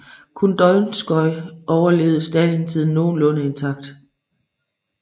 Kun Donskoj overlevede stalintiden nogenlunde intakt